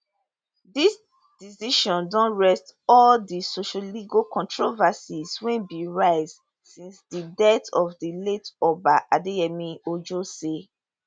dis decision don rest all di sociolegal controversies wey bin rise since di death of di late oba adeyemi ojo say